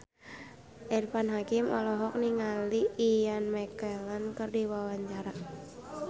Irfan Hakim olohok ningali Ian McKellen keur diwawancara